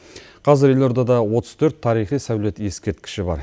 қазір елордада отыз төрт тарихи сәулет ескерткіші бар